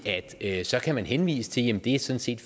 at så kan man henvise henvise til